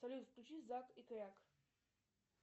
салют включи зак и кряк